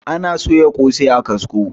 ana soya kosai a kasko